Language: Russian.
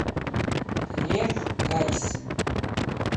лев гайсин